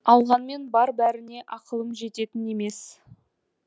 алғанмен бар бәріне ақылым жететін емес